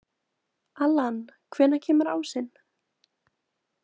Allan, hvenær kemur ásinn?